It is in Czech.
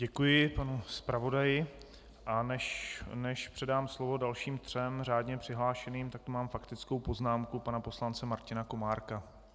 Děkuji panu zpravodaji, a než předám slovo dalším třem řádně přihlášeným, tak tu mám faktickou poznámku pana poslance Martina Komárka.